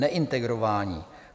Neintegrování.